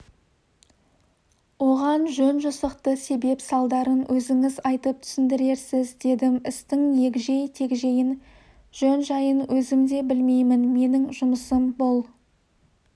оған жөн-жосықты себеп-салдарын өзіңіз айтып түсіндірерсіз дедім істің егжей-тегжейін жөн-жайын өзім де білмеймін менің жұмысым бұл